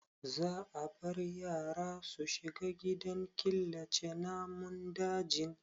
Za a bar yara su shiga gidan killace namun dajin?